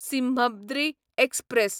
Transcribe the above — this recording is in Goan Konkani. सिम्हद्री एक्सप्रॅस